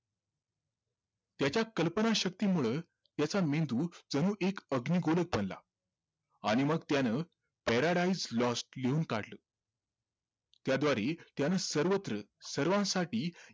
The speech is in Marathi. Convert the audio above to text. त्याच्या कल्पनाशक्तीमुळं त्याचा मेंदू जणू एक अग्निगोलचं बनला आणि मग त्यानं paradise lost लिहून काढलं त्याद्वारे त्याने सर्वत्र सर्वांसाठी